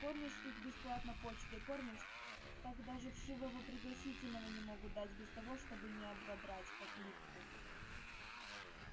кормишь их бесплатно почтой кормишь так даже вшивого пригласительного не могут дать без того чтобы не ободрать как липку